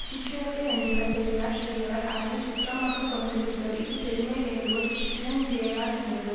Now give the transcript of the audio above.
சிற்றினத்தை யஞ்சுவர் பெரியர் சிறியவர் அதனை சுற்றமாக கொண்டு விடுவர் இது பெருமை வேண்டுவார் சிற்றினஞ் சேராரென்றது